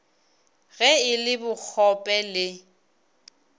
ge e le bokgope le